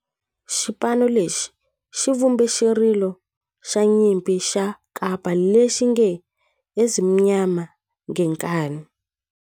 Xipano lexi xi vumbe xirilo xa nyimpi xa kampa lexi nge 'Ezimnyama Ngenkani'.